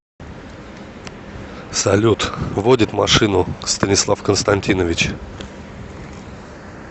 салют водит машину станислав константинович